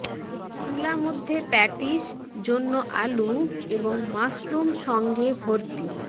চুলা মধ্যে প্যাটিস জন্য আলু এবং মাশরুম সঙ্গে ভর্তি